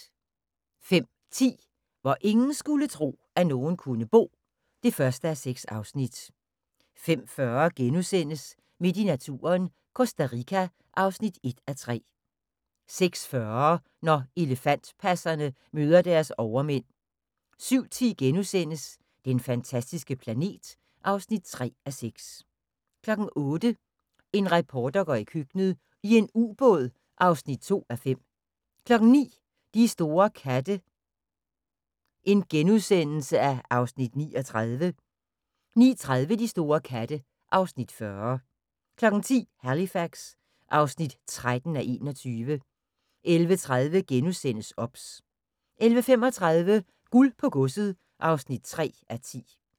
05:10: Hvor ingen skulle tro, at nogen kunne bo (1:6) 05:40: Midt i naturen – Costa Rica (1:3)* 06:40: Når elefantpasserne møder deres overmænd 07:10: Den fantastiske planet (3:6)* 08:00: En reporter går i køkkenet - i en ubåd (2:5) 09:00: De store katte (Afs. 39)* 09:30: De store katte (Afs. 40) 10:00: Halifax (13:21) 11:30: OBS * 11:35: Guld på godset (3:10)